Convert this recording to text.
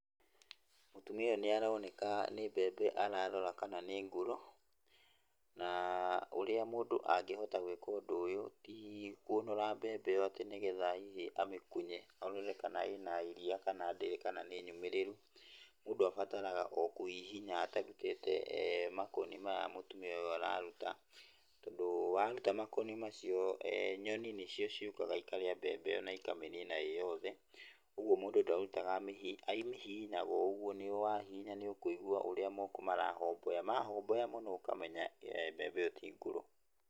Mũtumia ũyũ nĩ aroneka nĩ mbembe ararora kana nĩ ngũrũ, na ũrĩa mũndũ angĩhota gwĩka ũndũ ũyũ tĩ kũnũra mbembe ĩyo atĩ nĩ getha hĩhĩ amĩkunye arore kana ĩna iria kana ndĩrĩ kana nĩ nyũmĩrĩru, mũndũ abataraga o kũhihinya atarutĩte makoni maya mũtumia ũyũ aruta, tondũ waruta makoni macio, nyoni nĩcio ciũkaga ikarĩa mbembe ĩyo na ikamĩnĩna ĩ yothe, ũguo mũndũ ndarutaga, amĩhihinyaga o ũguo, wahihinya nĩ ũkũigua ũrĩa moko marahomboya, mahomboya mũno nĩũkũmenya mbembe ĩyo ti ngũrũ.